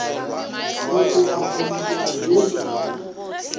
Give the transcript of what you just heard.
go tloga molokong wo mongwe